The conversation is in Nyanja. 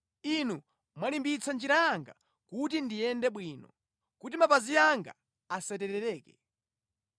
Inu mwalimbitsa njira yanga kuti ndiyende bwino, kuti mapazi anga asaterereke.